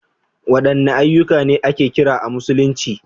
Wadanne ayyuka ne ake kira a Musulunci?